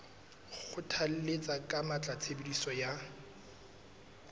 kgothalletsa ka matla tshebediso ya